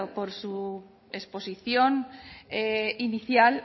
por su exposición inicial